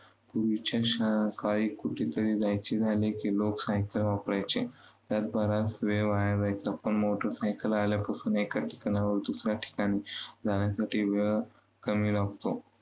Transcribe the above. पूर्वीच्या शाकाळी कुठे तरी जायचे झाले की लोक सायकल वापरायचे. त्यात बराच वेळ वाया जायचा पण मोटरसायकल आल्यापासून एका ठिकाणाहून दुसऱ्या ठिकाणी जाण्यासाठी वेळ कमी लागतो.